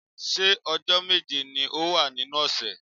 Ṣé ọjọ́ méje ni ó wà nínú ọ̀sẹ̀?